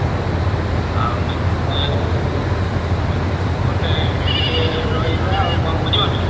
ଅ ହଉ। ଆଉ ମୁଁ ଟିକେ ଗଲେ ସେଇଠି ଟିକେ ରହିବା ଆଉ କଣ ବୁଝି ପାରୁଛ ନା।